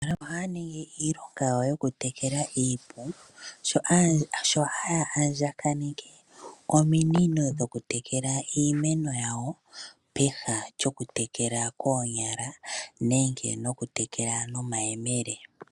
Aantu ohaya ningi iilonga yawo yokutekela iipu sho haya andjanenke ominino dhokutekela iimeno yawo peha lyokutekela koonyala nenge nokutekela nomayemele.